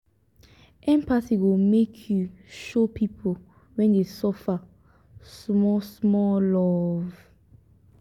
empathy go make you show pipu wey dey suffer small-small love.